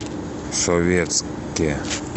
советске